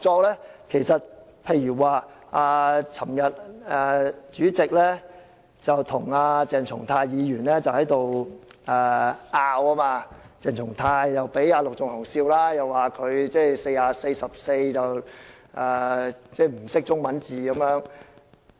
例如立法會主席昨天與鄭松泰議員爭拗，鄭議員又被陸頌雄議員取笑，說他連《議事規則》第44條的中文字都不懂。